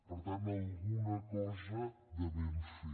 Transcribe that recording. per tant alguna cosa devem fer